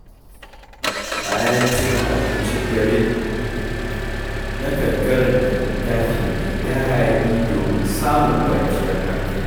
Bayan cin abincin dare, nakan karanta littafi mai daɗi don samun kwanciyar hankali.